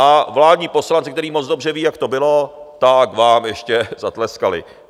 A vládní poslanci, kteří moc dobře vědí, jak to bylo, tak vám ještě zatleskali.